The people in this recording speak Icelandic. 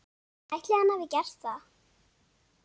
Ætli hann hafi gert það?